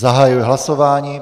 Zahajuji hlasování.